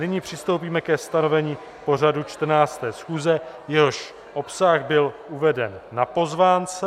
Nyní přistoupíme ke stanovení pořadu 14. schůze, jehož obsah byl uveden na pozvánce.